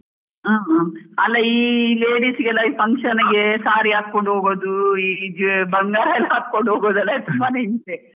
ಅ ಹ ಅಲಾ ಈ ladies ಗೆಲ್ಲ function ಗೆ saree ಹಾಕೊಂಡು ಹೋಗೋದ್ ಈ ಬಂಗಾರ್ ಎಲ್ಲಾ ಹಾಕೊಂಡ್ ಹೋಗೋದೆಲ್ಲ ತುಂಬಾನೇ ಹಿಂಸೆ.